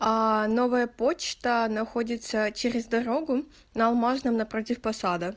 новая почта находится через дорогу на алмазном напротив посада